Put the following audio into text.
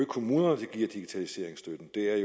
kommunerne der giver digitaliseringsstøtten det er